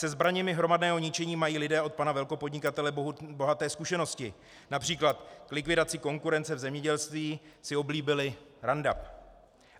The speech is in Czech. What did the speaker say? Se zbraněmi hromadného ničení mají lidé od pana velkopodnikatele bohaté zkušenosti - například k likvidaci konkurence v zemědělství si oblíbili Roundup.